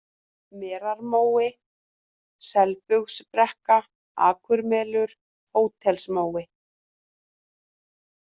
Merarmói, Selbugsbrekka, Akurmelur, Hótelsmói